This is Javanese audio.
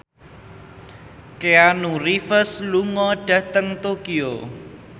Keanu Reeves lunga dhateng Tokyo